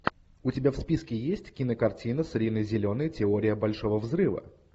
у тебя в списке есть кинокартина с риной зеленой теория большого взрыва